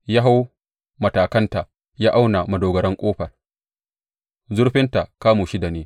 Ya hau matakanta ya auna madogarar ƙofa; zurfinta kamu shida ne.